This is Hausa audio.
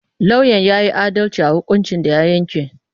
Lauyan ya yi adalci a hukuncin da ya yanke.